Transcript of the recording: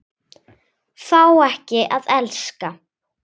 Fá ekki að elska.